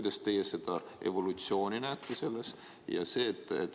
Kas teie näete selles evolutsiooni?